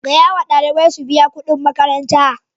Gaya ma ɗalibai su biya kudin makaranta!